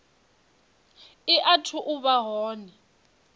i athu u vha hone